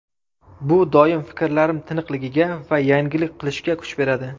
Bu doimo fikrlarim tiniqligiga va yangilik qilishga kuch beradi”.